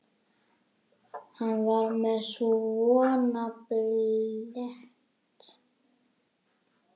Hann var með svona blett.